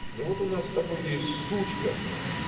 ну вот у нас с тобой есть сучка